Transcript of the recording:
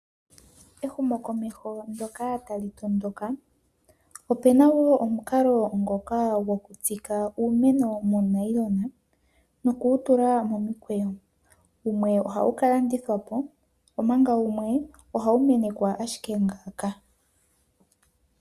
Ehumokomeho ndyoka tali tondoka, opu na wo omukalo gokutsika uumeno muunayilona, noku wu tula momikweyo. Wumwe ohawu ka landithwa po, omanga wumwe ohawu menekwa ashike ngaaka.